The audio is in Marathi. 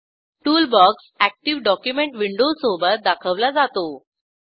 टूलबॉक्स अॅक्टिव्ह डॉक्युमेंट विंडो सोबत दाखवला जातो